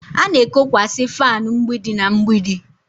A na-ekokwasị fanu mgbidi na mgbidi